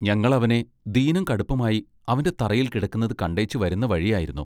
ഞങ്ങൾ അവനെ ദീനം കടുപ്പമായി അവന്റെ തറയിൽ കിടക്കുന്നതു കണ്ടേച്ചു വരുന്ന വഴിയായിരുന്നു.